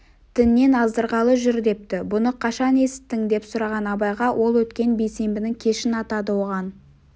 діннен аздырғалы жүр депті бұны қашан есіттің деп сұраған абайға ол өткен бейсенбінің кешін атады оған